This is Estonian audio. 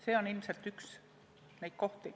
See on ilmselt üks neid olukordi.